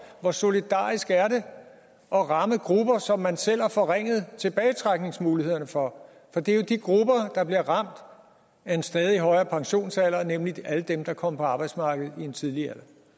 hvor solidarisk er det at ramme grupper som man selv har forringet tilbagetrækningsmulighederne for for det er jo de grupper der bliver ramt af en stadig højere pensionsalder nemlig alle dem der kom på arbejdsmarkedet i en tidlig alder